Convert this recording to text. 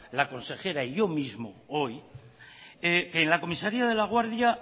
la consejera y yo mismos hoy que en la comisaría de laguardia